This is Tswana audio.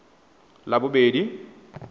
labobedi